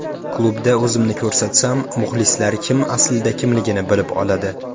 Klubda o‘zimni ko‘rsatsam, muxlislar kim aslida kimligini bilib oladi.